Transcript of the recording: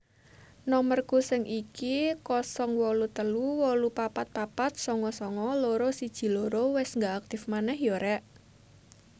Nomerku sing iki 083844499212 wes gak aktif maneh yo rek